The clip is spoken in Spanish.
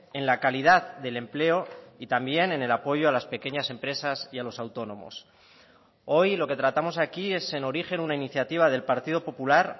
en la calidad del empleo y también en el apoyo a las pequeñas empresas y a los autónomos hoy lo que tratamos aquí es en origen una iniciativa del partido popular